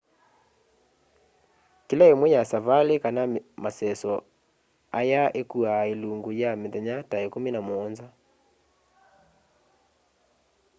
kila imwe ya savali kana maseso aya ikuaa ilungu ya mithenya ta ikumi na muonza